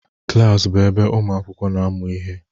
Klas bụ ebe ụmụ akwụkwọ na-amụ ihe.